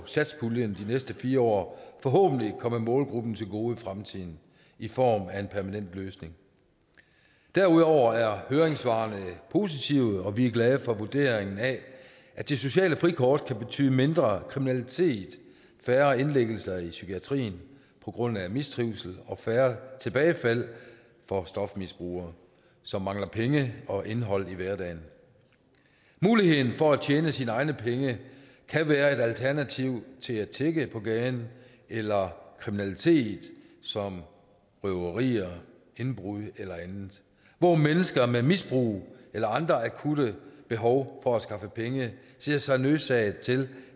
satspuljen de næste fire år forhåbentlig komme målgruppen til gode i fremtiden i form af en permanent løsning derudover er høringssvarene positive og vi er glade for vurderingen af at det sociale frikort kan betyde mindre kriminalitet færre indlæggelser i psykiatrien på grund af mistrivsel og færre tilbagefald for stofmisbrugere som mangler penge og indhold i hverdagen muligheden for at tjene sine egne penge kan være et alternativ til at tigge på gaden eller kriminalitet som røverier indbrud eller andet hvor mennesker med misbrug eller andre med akutte behov for at skaffe penge ser sig nødsaget til